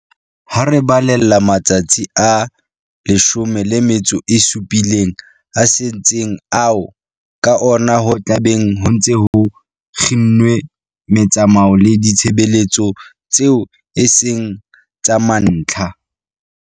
Ha re balella le matsatsi a 17 a setseng ao ka ona ho tla beng ho ntse ho kginnwe metsamao le ditshebeletso tseo e seng tsa mantlha